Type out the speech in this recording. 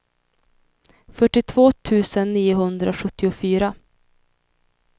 fyrtiotvå tusen niohundrasjuttiofyra